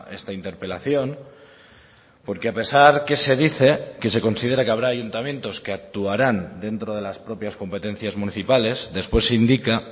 esta interpelación porque a pesar que se dice que se considera que habrá ayuntamientos que actuarán dentro de las propias competencias municipales después indica